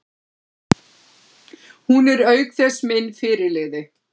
Hún er auk þess minn fyrirliði.